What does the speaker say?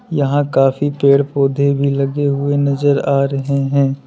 यहां काफी पेड़ पौधे भी लगे हुए नजर आ रहे हैं।